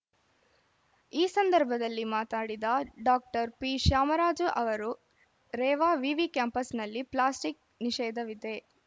ಈ ಸಂದರ್ಭದಲ್ಲಿ ಮಾತಾಡಿದ ಡಾಕ್ಟರ್ ಪಿಶ್ಯಾಮರಾಜ ಅವರು ರೇವಾ ವಿವಿ ಕ್ಯಾಂಪಸ್‌ನಲ್ಲಿ ಪ್ಲಾಸ್ಟಿಕ್‌ ನಿಷೇಧವಿದೆ